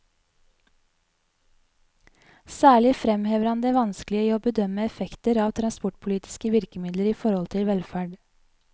Særlig fremhever han det vanskelige i å bedømme effekter av transportpolitiske virkemidler i forhold til velferd.